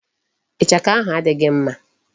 Ichaka ahụ adịghị mma.